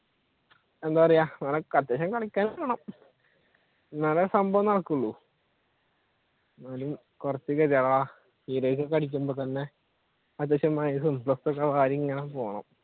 എന്താ പറയുക അത്യാവശ്യം കളിക്കേം വേണം എന്നാലേ സംഭവം നടക്കൂള്